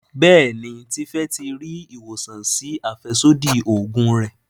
Béèni Tife tí rí ìwòsàn sí afẹsodi oògùn rẹ.